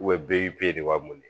bɛɛ y'i de b'a mun de